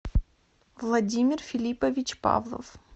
владимир филиппович павлов